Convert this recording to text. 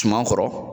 Suman kɔrɔ